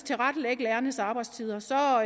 tilrettelægge lærernes arbejdstider så